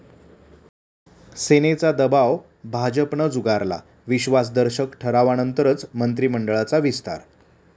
सेनेचा दबाव भाजपनं झुगारला, विश्वासदर्शक ठरावानंतरच मंत्रिमंडळाचा विस्तार'